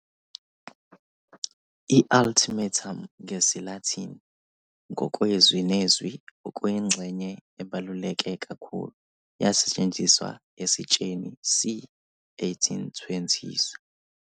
I-Ultimatum, ngesiLatin, ngokwezwi nezwi 'okuyingxenye ebaluleke kakhulu' yasetshenziswa esitsheni c. 1820s.